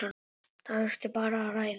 Það þurfi bara að ræða.